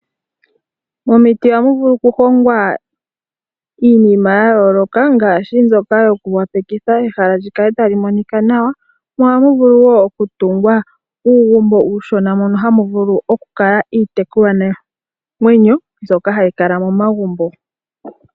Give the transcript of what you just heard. Momiti ohamu vulu okuhongwa iinima yayooloka ngaashi mbyoka yokoopalekitha ehala lyikale talimonika nawa mo ohamu vulu wo okutungwa uugumbo uushona mono hamu vulu okukala iitekulwa namwenyo mbyoka hayikala momagumbo.